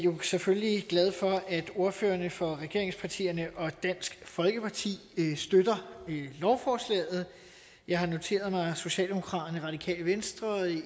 selvfølgelig glad for at ordførerne for regeringspartierne og dansk folkeparti støtter lovforslaget jeg har noteret mig at socialdemokraterne det radikale venstre